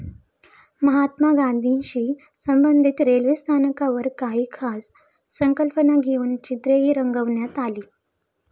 महात्मा गांधीशी संबंधित रेल्वे स्थानकांवर काही खास संकल्पना घेऊन चित्रेही रंगवण्यात आली.